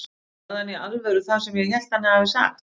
Sagði hann í alvöru það sem ég hélt að hann hefði sagt?